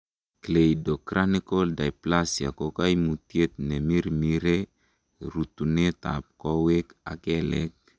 Cleidocranial dysplasia ko koimutiet neimirmire rutunetab kowek ak kelek .